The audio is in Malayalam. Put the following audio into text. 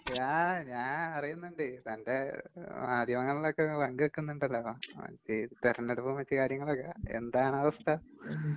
ങാ...ഞാനറിയുന്നുണ്ട്.തന്റെ...മാധ്യമങ്ങളിലൊക്കെ നിങ്ങപങ്കുവയ്ക്കുന്നുണ്ടല്ലോ താൻ.. തെരഞ്ഞെടുപ്പും മറ്റ് കാര്യങ്ങളുമൊക്കെ..എന്താണാവസ്ഥ?